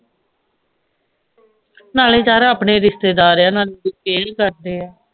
ਨਾਲੇ ਚੱਲ ਆਪਣੇ ਰਿਸ਼ਤੇਦਾਰ ਆ ਨਾਲੇ ਈ ਕਰਦੇ ਆ